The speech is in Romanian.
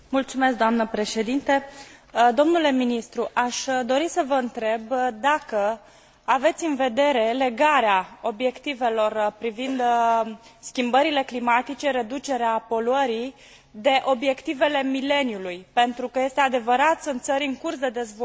Domnule ministru, aș dori să vă întreb dacă aveți în vedere legarea obiectivelor privind schimbările climatice și reducerea poluării, de obiectivele mileniului, pentru că, este adevărat, sunt țări în curs de dezvoltare care consideră că